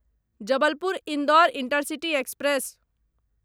Jabalpur Indore intercity express